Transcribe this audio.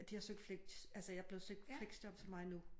De har har søgt fleks altså jeg er blevet søgt fleksjob til mig nu